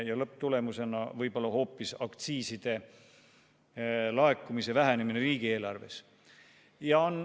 Ning lõpptulemusena võib aktsiiside laekumine riigieelarvesse hoopis väheneda.